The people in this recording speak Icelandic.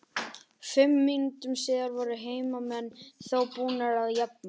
Fimm mínútum síðar voru heimamenn þó búnir að jafna.